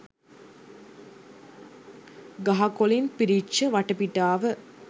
ගහකොලින් පිරිච්ච වටපිටාව